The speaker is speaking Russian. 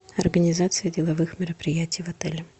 организация деловых мероприятий в отеле